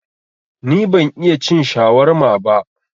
Ni ban iya cin shawarma ba